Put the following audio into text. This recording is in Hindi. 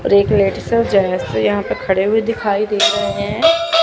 और एक लेडिस है जैसे यहां पे खड़े हुए दिखाई दे रहे हैं।